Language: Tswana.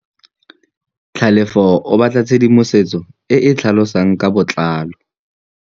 Tlhalefô o batla tshedimosetsô e e tlhalosang ka botlalô.